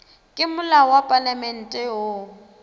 ke molao wa palamente wo